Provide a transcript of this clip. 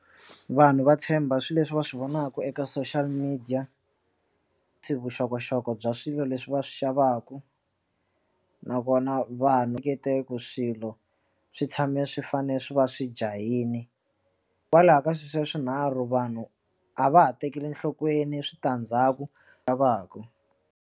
Vanhu va tshemba swilo leswi va swi vonaka eka social media ti vuxokoxoko bya swilo leswi va swi xavaka nakona vanhu ngetela ku swilo swi tshame swi fane swi va swi jahile kwalaho ka sweswiya swinharhu vanhu a va ha tekeli enhlokweni switandzhaku lavaku.